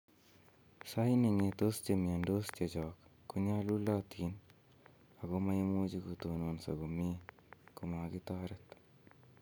" Sait ne ng'etos che miondos chechok, konyalulotin ago maimuch kotonoso komie komakitoret."